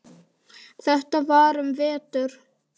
Þetta var um vetur.